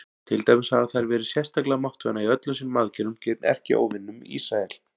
Til dæmis hafa þær verið sérstaklega máttvana í öllum sínum aðgerðum gegn erkióvininum Ísrael.